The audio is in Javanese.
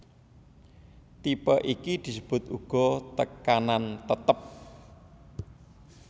Tipe iki disebut uga tekanan tetep